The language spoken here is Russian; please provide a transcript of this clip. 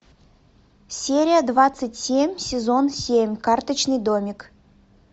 серия двадцать семь сезон семь карточный домик